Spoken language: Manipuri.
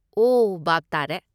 ꯑꯣ, ꯚꯥꯞ ꯇꯥꯔꯦ꯫